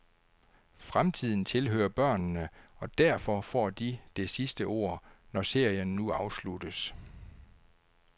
Fremtiden tilhører børnene, og derfor får de det sidste ord, når serien nu afsluttes.